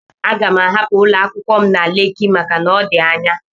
Aga m ahapụ ụlọ akwụkwọ m na Leki maka na ọ dị anya.